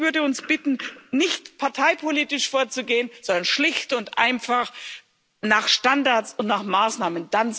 Ich würde uns bitten, nicht parteipolitisch vorzugehen, sondern schlicht und einfach nach Standards und nach Maßnahmen.